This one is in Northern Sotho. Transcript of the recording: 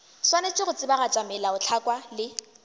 swanetše go tsebagatša melaotlhakwa le